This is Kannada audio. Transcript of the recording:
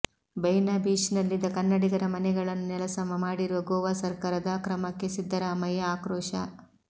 ಬೈನಾ ಬೀಚ್ನಲ್ಲಿದ್ದ ಕನ್ನಡಿಗರ ಮನೆಗಳನ್ನು ನೆಲಸಮ ಮಾಡಿರುವ ಗೋವಾ ಸರ್ಕಾರದ ಕ್ರಮಕ್ಕೆ ಸಿದ್ದರಾಮಯ್ಯ ಆಕ್ರೋಶ